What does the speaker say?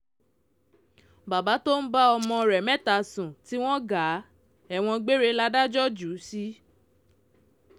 bàbá tó ń bá ọmọ rẹ̀ mẹ́ta sùn ti wọ gàá ẹ̀wọ̀n gbére látàjọ́ jù ú sí